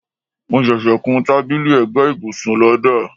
mo ṣẹṣẹ kún tábìlì ẹ̀gbẹ́ ibùsùn lọ́dà